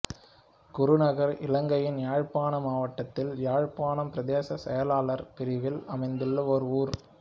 குருநகர் இலங்கையின் யாழ்ப்பாண மாவட்டத்தில் யாழ்ப்பாணம் பிரதேச செயலாளர் பிரிவில் அமைந்துள்ள ஒரு ஊர்